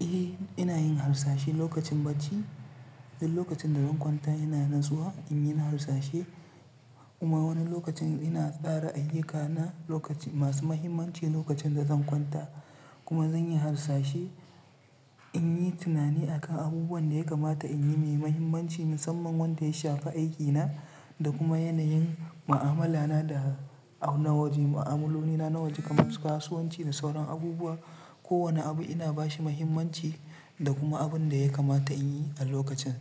Eh ina yin harsashe lokacin bacci duk lokacin da zan kwanta ina nutsuwa in yi na harsashe kuma wani lokacin ina tsara ayyukana lokacin masu muhimmanci lokacin da zan kwanta kuma zan yi harsashe in yi tunani akan abubuwan da ya kamata in yi mai muhimmanci musamman wanda ya shafi aikina da kuma yanayin ma'amala na da nawaje, ma'amalolina nawaje kamar kasuwanci da sauran abubuwa. Ko wane abu ina ba shi muhimmanci da kuma abun da ya kamata in yi a lokacin.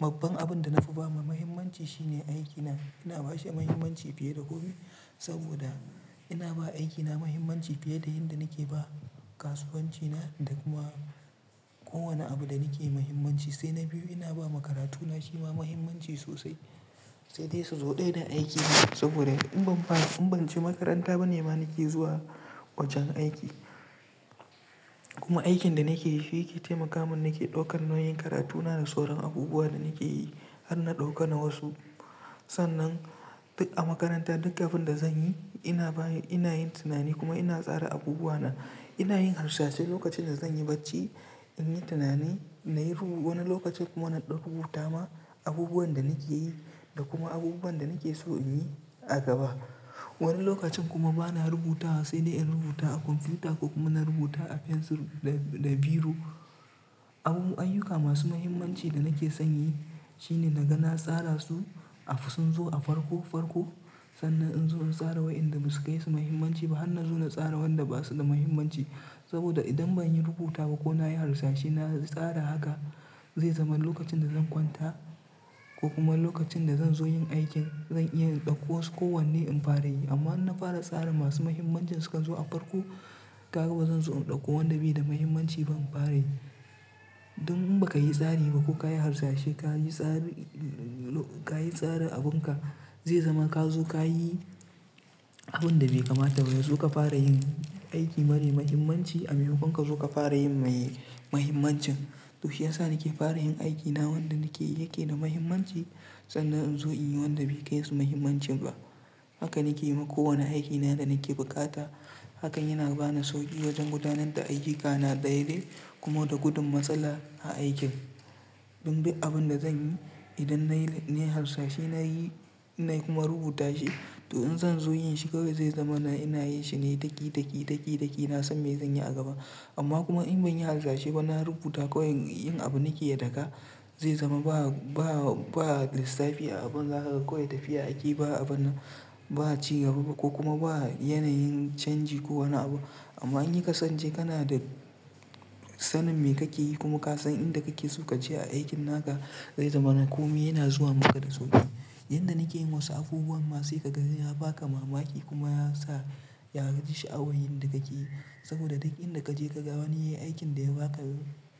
Babban abin da nafi ba ma muhimmanci shine aikina. Ina ba shi muhimmanci fiye da komi saboda ina ba aikina muhimmanci fiye da yanda nake ba kasuwancina da kuma kowane abu da nake yi muhimmanci sai na biyu ina ba makarantuna shi ma muhimmanci sosai. Sai dai sau ɗaya da aiki na saboda in ban ba in ban je makaranta ba nima nake zuwa wajen aiki kuma aikin da nake yi shi yake taimaka min nake ɗaukar nauyin karatuna da sauran abubuwa da nake yi har na ɗauka na wasu. Sannan duk a makaranta duk abin da zanyi ina baya ina yin tunani kuma ina tsara abubuwa na. Ina yin harsashe lokacin da zan yi bacci in yi tunani nayi rubu wani lokacin kuma na ɗan rubuta ma abubuwan da nake yi da kuma abubuwan da nake so in yi a gaba. Wani lokacin kuma bana rubutawa sai dai in rubuta a kwamfuta ko kuma na rubuta a fensir da, da biro. Abubu ayyuka masu muhimmanci da nake son yi shine naga na tsarin su a sun zo a farko farko sannan in zo in tsara wa'inda basu kai su muhimmanci ba, hanna zo na tsara wanda basu da muhimmanci saboda idan banyi rubutawa ko na yi harsashe na tsara haka zai zama lokacin da zan kwanta ko kuma lokacin da zan zo yin aikin zan iya ɗauko su ko wanne in fara yi. Amma in na fara tsara masu muhimmancin suka zo a farko, ka ga bazan zo in ɗauko wanda bai da muhimmanci ba in fara yi. Dan in baka yi tsari ba ko ka yi harsashe ka yi tsari ka yi tsarin abunka zai zama ka zo ka yi abun da bai kamata ba. Ya zo ka fara yin aiki mara muhimmanci a maimakon ka suka fara yin mai mahimmancin. To shiyasa nake fara yin aikina wanda nake yake da muhimmanci sannan in zo in yi wanda bai kayi su muhimmanci ba. Haka nake yi ma kowane aikina da nake bukata. Hakan yana ba ni sauƙi wajen gudanar da ayyukana daidai kuma da gudun matsala a aikin. Dan duk abun da zanyi idan nayi nayi harsashi nayi inna kuma rubuta shi to in zan zo yin shi kawai zai zama na ina yi shine daki, daki, daki, daki na san me zan yi a gaba. Amma kuma in ban yi harsashi ba na rubuta kawai yin abu nake da ka zai zama ba, ba, ba lissafi a abun haka kawai tafiya a aiki ba abu na ba ci gaba ba ko kuma ba yanayin canji ko wane abu. Amma in yi kasance kana da sanin me kake yi kuma ka san inda kake so ka je a aikin naka zai zama na komi yana zuwa maka da sauƙi. Inda nake yin wasu abubuwan ma sai kaga yana baka mamaki kuma ya sa ya haji sha'awar yin da kake yi saboda duk inda kaje ka ga wani yayi aikin da ya baka,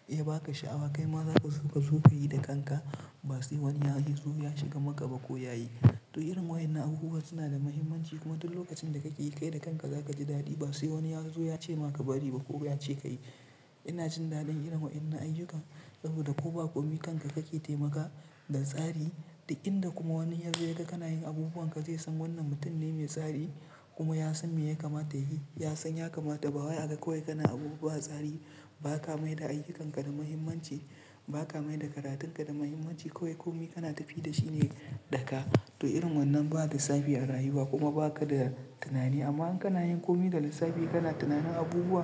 ya baka sha'awa kai ma zaka so ka yi da kanka. Ba sai wani ya zo ya shiga maka ba ko yayi. To irin wa'yannan abubuwa suna da muhimmanci kuma duk lokacin da kake yi kai da kanka zaka ji dadi ba sai wani ya zo ya ce maka bari ba ko yace kayi. Ina jin daɗin irin wa'yannan ayyukan saboda ko ba komi kanka kake taimaka da tsari duk inda kuma wani ya zo ya ga kana yin abubuwan ka zai san wannan mutum ne mai tsari kuma ya san me ya kamata yayi ya san ya kamata ba wai aga kawai kana abu ba tsari ba ka mai da ayyukanka da muhimmanci ba ka mai da karatunka da muhimmanci kawai komi kana tafiya da shi ne daga. To irin wannan ba lissafi a rayuwa kuma baka da tunani amma in kana yin komi da lissafi kana tunanin abubuwa.